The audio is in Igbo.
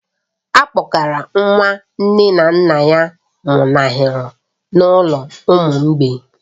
A kpọgara nwa nke nne na nna ya nwụnahụrụ n'ụlọ ụmụ mgbei